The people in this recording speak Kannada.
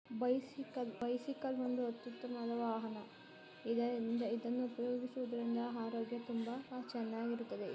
ಬೈಸಿಕಲ್ ಬೈಸಿಕಲ್ ಒಂದು ಅದ್ಭುತವಾದವಾಹನ. ಇದನ್ನು ಡೈಲಿ ಓಡಿಸುವುದರಿಂದ ಆರೋಗ್ಯ ತುಂಬಾ ಚೆನ್ನಾಗಿ ಇರುತ್ತೆ